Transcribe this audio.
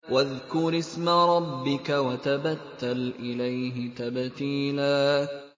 وَاذْكُرِ اسْمَ رَبِّكَ وَتَبَتَّلْ إِلَيْهِ تَبْتِيلًا